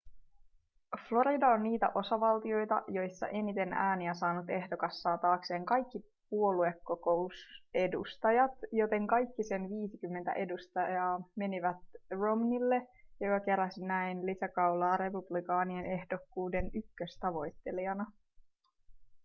florida on niitä osavaltioita joissa eniten ääniä saanut ehdokas saa taakseen kaikki puoluekokousedustajat joten kaikki sen viisikymmentä edustajaa menivät romneylle joka keräsi näin lisäkaulaa republikaanien ehdokkuuden ykköstavoittelijana